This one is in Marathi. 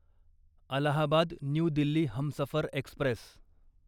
Allahabad new Delhi Humsafar Express